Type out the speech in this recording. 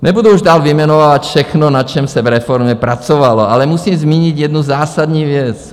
Nebudu už dál vyjmenovávat všechno, na čem se v reformě pracovalo, ale musím zmínit jednu zásadní věc.